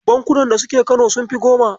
Bankunan da suke Kano Sunfi 10.